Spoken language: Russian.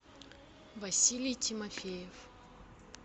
василий тимофеев